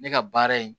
Ne ka baara ye